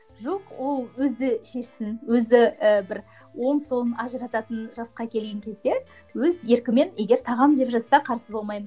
жоқ ол өзі шешсін өзі і бір оң солын ажырататын жасқа келген кезде өз еркімен егер тағамын деп жатса қарсы болмаймын